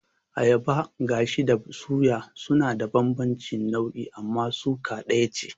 Ayaban gashi da suya suna da bambanci nau'i amma suka ɗaya ce